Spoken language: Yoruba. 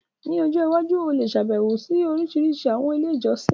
Ní ọjọ́ iwájú, o lè ṣàbẹ̀wo sí orísìírísìí àwọn ilé ìjọsìn.